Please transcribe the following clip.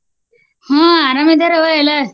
ಹ್ಮ ಅರಾಮ ಇದರವ್ವ ಎಲ್ಲರು.